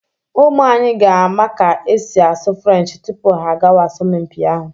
Ụmụ anyị ga-ama ka e si asụ Frenchị tupu ha agawa asọmpi ahụ.